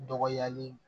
Dɔgɔyali